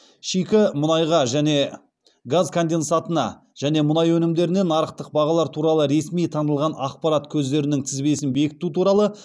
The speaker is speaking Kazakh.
шикі мұнайға және газ конденсатына және мұнай өнімдеріне нарықтық бағалар туралы ресми танылған ақпарат көздерінің тізбесін бекіту туралы